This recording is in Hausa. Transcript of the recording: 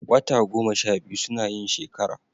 Wata goma sha biyu suna yin shekara